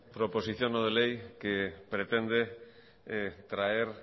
proposición no de ley que pretende traer